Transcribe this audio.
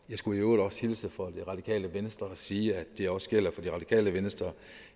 jeg skulle i øvrigt også hilse fra det radikale venstre og sige at det også gælder for det radikale venstre